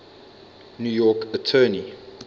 new york attorney